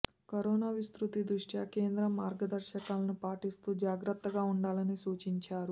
corona విస్తృతి దృష్ట్యా కేంద్రం మార్గదర్శకాలను పాటిస్తూ జాగ్రత్తగా ఉండాలని సూచించారు